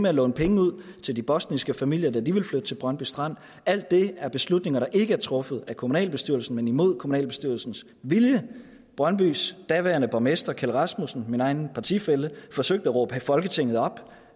at låne penge ud til de bosniske familier der ville flytte til brøndby strand alt det er beslutninger der ikke blev truffet af kommunalbestyrelsen men imod kommunalbestyrelsens vilje brøndbys daværende borgmester kjeld rasmussen min egen partifælle forsøgte at råbe folketinget op